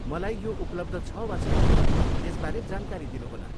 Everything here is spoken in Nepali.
मलाई यो उपलब्ध छ वा छैन, यसबारे जानकारी दिनुहोला।